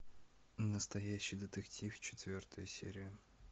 настоящий детектив четвертая серия